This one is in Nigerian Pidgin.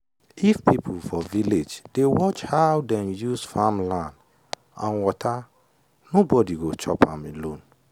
if people for village dey watch how dem use farm land and water nobody go chop am alone.